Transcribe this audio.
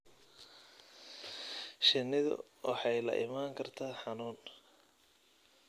Shinnidu waxay la imaan kartaa xanuun.